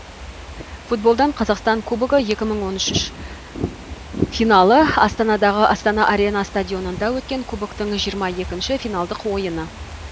футболдан қазақстан кубогы екі мың он үш финалы астанадағы астана арена стадионында өткен кубоктың жиырма екінші финалдық ойыны